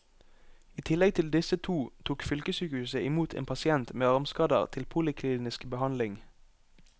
I tillegg til disse to tok fylkessykehuset i mot en pasient med armskader til poliklinisk behandling.